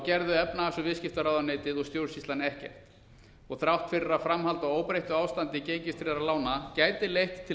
gerði efnahags og viðskiptaráðuneytið og stjórnsýslan ekkert þrátt fyrir að framhald á óbreyttu ástandi gengistryggðra lána gæti leitt til